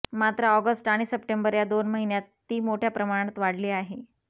मात्र ऑगस्ट आणि सप्टेंबर या दोन महिन्यात ती मोठ्या प्रमाणात वाढली आहे